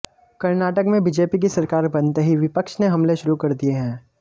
कर्नाटक में बीजेपी की सरकार बनते ही विपक्ष ने हमले शुरू कर दिए हैं